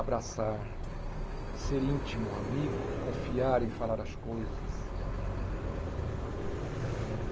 Abraçar, ser íntimo, amigo, confiar em falar as coisas.